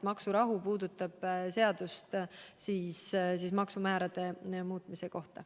Maksurahu puudutab seadust maksumäärade muutmise kohta.